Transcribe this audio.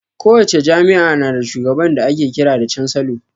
Kowace jami'a na da shugaba da ake kiran da cansalo